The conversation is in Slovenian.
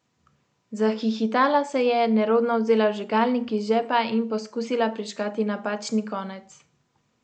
Zahihitala se je, nerodno vzela vžigalnik iz žepa in poskusila prižgati napačni konec.